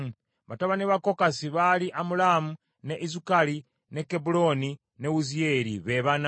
Batabani ba Kokasi baali Amulaamu, ne Izukali, ne Kebbulooni ne Wuziyeeri, be bana.